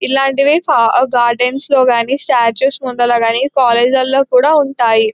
ఇలాంటివి ఫా గార్డెన్స్ లో గాని స్టాట్యూస్ ముందర గాని కాలేజ్ లల కూడా ఉంటాయి.